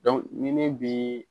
ni min bee